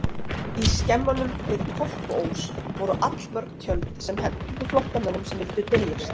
Í skemmunum við Kolkuós voru allmörg tjöld sem hentuðu flóttamönnum sem vildu dyljast.